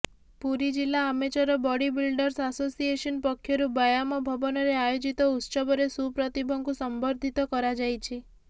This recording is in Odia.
ପୁରୀ ଜିଲ୍ଲା ଆମେଚର ବଡ଼ି ବିଲଡର୍ସ ଆସୋସିଏସନ୍ ପକ୍ଷରୁ ବ୍ୟାୟାମ ଭବନରେ ଆୟୋଜିତ ଉତ୍ସବରେ ସୁପ୍ରତିଭଙ୍କୁ ସମ୍ବର୍ଦ୍ଧିତ କରାଯାଇଛି